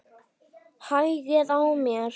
Hægði á mér.